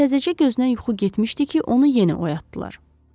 Təzəcə gözünə yuxu getmişdi ki, onu yenə oyatdılar.